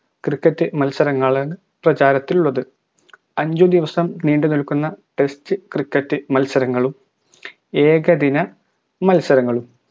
cricket മത്സരങ്ങളാണ് പ്രചാരത്തിലുള്ളത് അഞ്ച് ദിവസം നീണ്ടുനിൽക്കുന്ന test cricket മത്സരങ്ങളും ഏകദിന മത്സരങ്ങളും